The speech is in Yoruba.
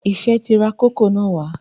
Ifẹ ti rà kókò na wà